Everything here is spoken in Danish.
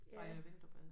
Har jeg vinterbadet